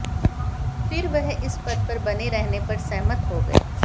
फिर वह इस पद पर बने रहने पर सहमत हो गए